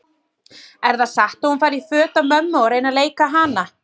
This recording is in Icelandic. Er það satt að hún fari í föt af mömmu og reyni að leika hana?